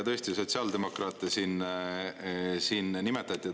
Tõesti, sotsiaaldemokraate siin nimetati.